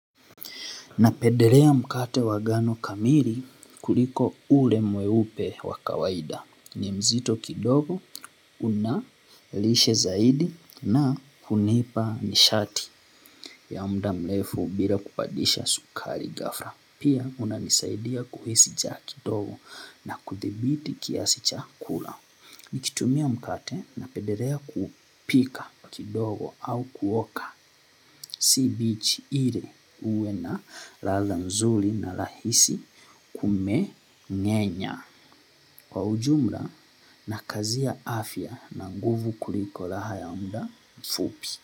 Napendelea mkate wa ngano kamili, kuliko ule mweupe wa kawaida. Ni mzito kidogo, una lishe zaidi na hunipa nishati. Ya muda mrefu, bila kupandisha sukari ghafla. Pia unanisaidia kuhisi njaa kidogo na kuthibiti kiasi cha kula. Nikitumia mkate, napendelea kupika kidogo au kuoka. Si mbichi ile uwe na ladha nzuri na rahisi kumeng'enya. Kwa ujumla, na kazi ya afya na nguvu kuliko, raha ya muda mfupi.